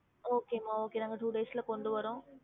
Okay மா okay நாங்க two days ல கொண்டு வாரோம்